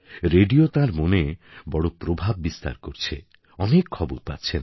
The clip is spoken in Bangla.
রেডিও তাঁর মনে বড় প্রভাব বিস্তার করছে অনেক খবর পাচ্ছেন